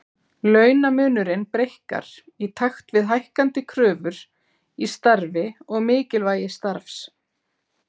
Launamunurinn breikkar í takt við hækkandi kröfur í starfi og mikilvægi starfs.